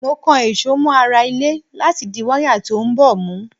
Mo kan èso mọ ara ilé láti di wáyà tí ó ń bọ̀ mú.